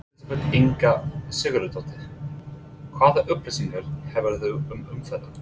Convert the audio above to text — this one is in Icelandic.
Elísabet Inga Sigurðardóttir: Hvaða upplýsingar hefurðu um umferðina?